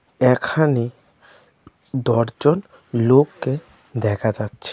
এখানে দর্জন লোককে দেখা যাচ্ছে.